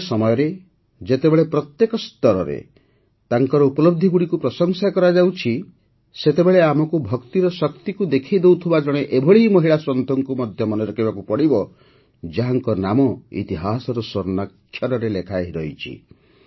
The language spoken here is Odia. ଆଜିର ସମୟରେ ଯେତେବେଳେ ପ୍ରତ୍ୟେକ ସ୍ତରରେ ତାଙ୍କର ଉପଲବଧିଗୁଡ଼ିକୁ ପ୍ରଶଂସା କରାଯାଉଛି ସେତେବେଳେ ଆମକୁ ଭକ୍ତିର ଶକ୍ତିକୁ ଦେଖେଇ ଦେଉଥିବା ଜଣେ ଏଭଳି ମହିଳା ସନ୍ଥଙ୍କୁ ମଧ୍ୟ ମନେ ରଖିବାକୁ ପଡ଼ିବ ଯାହାଙ୍କ ନାମ ଇତିହାସରେ ସ୍ୱର୍ଣ୍ଣାକ୍ଷରରେ ଲେଖାହୋଇ ରହିଛି